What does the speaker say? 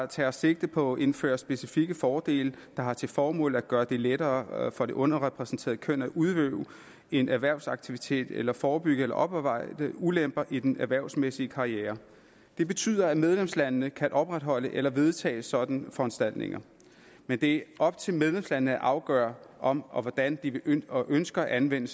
tager sigte på at indføre specifikke fordele der har til formål at gøre det lettere for det underrepræsenterede køn at udøve en erhvervsaktivitet eller at forebygge eller opveje ulemper i den erhvervsmæssige karriere det betyder at medlemslandene kan opretholde eller vedtage sådanne foranstaltninger men det er op til medlemslandene at afgøre om og hvordan de ønsker ønsker at anvende